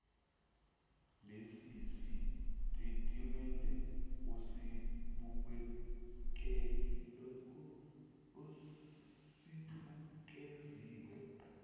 lesi sitatimende esibukeziwe